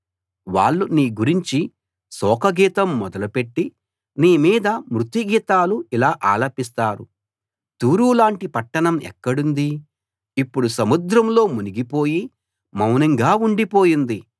వాళ్ళు నీ గురించి శోకగీతం మొదలుపెట్టి నీమీద మృత్యు గీతాలు ఇలా ఆలపిస్తారు తూరు లాంటి పట్టణం ఎక్కడుంది ఇప్పుడు సముద్రంలో మునిగిపోయి మౌనంగా ఉండిపోయింది